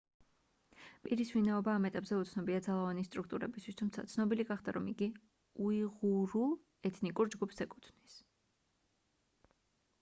პირის ვინაობა ამ ეტაპზე უცნობია ძალოვანი სტრუქტურებისთვის თუმცა ცნობილი გახდა რომ იგი უიღურულ ეთნიკურ ჯგუფს ეკუთვნის